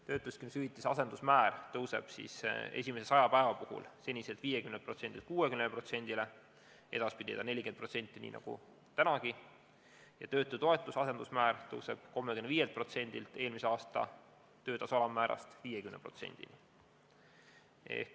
Töötuskindlustushüvitise asendusmäär tõuseb esimese 100 päeva puhul senisest 50%-lt 60%-ni, edaspidi on ta 40% nii nagu praegugi, ja töötutoetuse asendusmäär tõuseb 35%-lt eelmise aasta töötasu alammäärast 50%-ni.